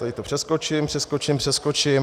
Tady to přeskočím, přeskočím, přeskočím...